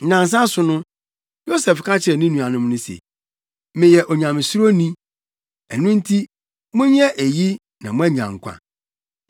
Nnansa so no, Yosef ka kyerɛɛ ne nuanom no se, “Meyɛ onyamesuroni. Ɛno nti, monyɛ eyi na moanya nkwa.